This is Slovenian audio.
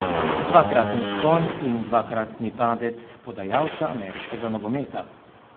Dvakratni vzpon in dvakratni padec podajalca ameriškega nogometa.